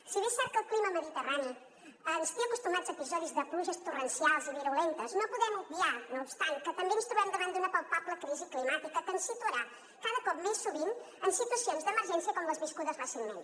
si bé és cert que el clima mediterrani ens té acostumats a episodis de pluges torrencials i virulentes no podem obviar no obstant que també ens trobem davant d’una palpable crisi climàtica que ens situarà cada cop més sovint en situacions d’emergència com les viscudes recentment